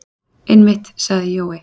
Einmitt, sagði Jói.